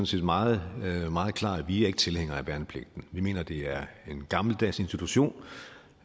set meget meget klar vi er ikke tilhængere af værnepligten vi mener det er en gammeldags institution